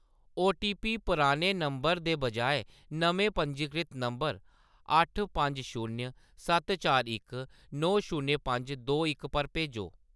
OTP पुराने नंबर दे बजाए नमें पंजीकृत नंबर अट्ठ पंज शून्य सत्त चार इक नौ शून्य पंज दो इक पर भेजो।